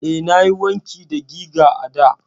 Eh, nayi wanki da giga a da.